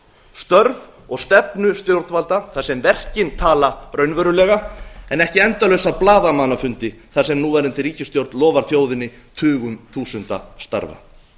störf og stefnu stjórnvalda þar sem verkin tala raunverulega en ekki endalausa blaðamannafundi þar sem núverandi ríkisstjórn lofar þjóðinni tugum þúsunda starfa